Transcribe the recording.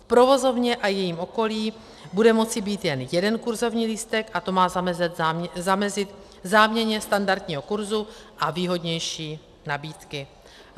V provozovně a jejím okolí bude moci být jen jeden kurzovní lístek a to má zamezit záměně standardního kurzu a výhodnější nabídky.